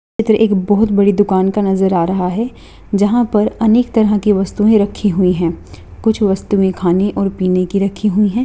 इधर एक बहुत बड़ी दुकान का नजर आ रहा है जहां पर अनेक तरह की वस्तुएँ रखी हुई है कुछ वस्तुएँ खाने और पीने की रखी हुई है।